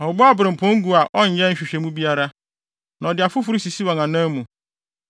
Ɔbobɔ abirɛmpɔn gu a ɔnyɛ nhwehwɛmu biara, na ɔde afoforo sisi wɔn anan mu.